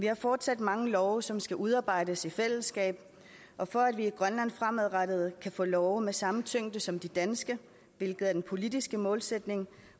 har fortsat mange love som skal udarbejdes i fællesskab og for at vi i grønland fremadrettet kan få love med samme tyngde som de danske hvilket er den politiske målsætning